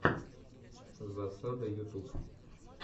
засада ютуб